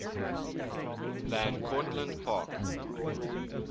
van cortlandt park